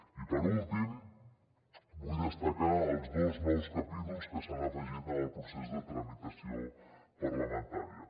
i per últim vull destacar els dos nous capítols que s’han afegit en el procés de tramitació parlamentària